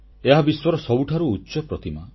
ଏହା ବିଶ୍ୱର ସବୁଠାରୁ ଉଚ୍ଚତମ ପ୍ରତିମା